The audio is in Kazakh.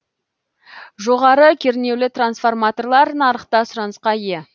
жоғары кернеулі трансформаторлар нарықта сұранысқа ие